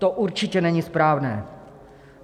To určitě není správné.